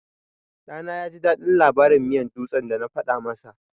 Ɗana yaji daɗin labarin miyan dutse da na faɗa masa.